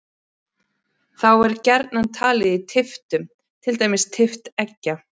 Þá er gjarnan talið í tylftum, til dæmis tylft eggja.